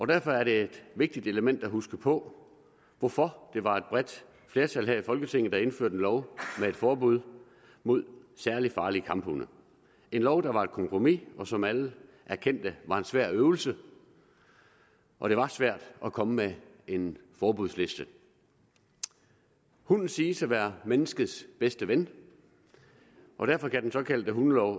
derfor er det et vigtigt element at huske på hvorfor det var et bredt flertal her i folketinget der indførte en lov med et forbud mod særlig farlige kamphunde en lov der var et kompromis og som alle erkendte var en svær øvelse og det var svært at komme med en forbudsliste hunden siges at være menneskets bedste ven og derfor er den såkaldte hundelov